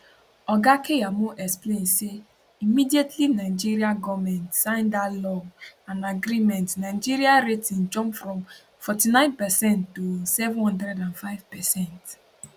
oga keyamo explain say immediately nigeria goment sign dat law and agreement nigeria rating jump from 49 percent to 705 percent